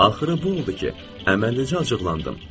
Axırı bu oldu ki, əməlli-başlı acıqlandım.